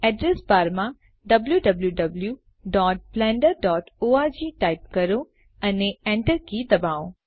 address બારમાં wwwblenderorg type કરો અને Enter કી દબાવો